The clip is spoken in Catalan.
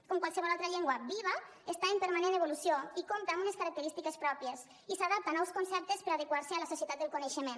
com qualsevol altra llengua viva està en permanent evolució i compta amb unes característiques pròpies i s’adapta a nous conceptes per adequar se a la societat del coneixement